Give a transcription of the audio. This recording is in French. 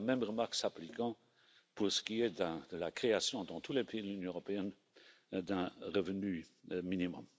La même remarque s'applique pour ce qui est de la création dans tous les pays de l'Union européenne d'un revenu minimum.